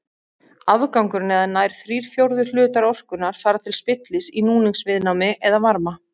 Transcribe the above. Afgangurinn eða nær þrír fjórðu hlutar orkunnar fara til spillis í núningsviðnámi eða varma.